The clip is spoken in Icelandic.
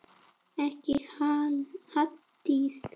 Ekki Halldís